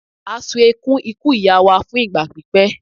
a ṣùn ekuń ikú ìyá wa fún ìgbà pípẹ́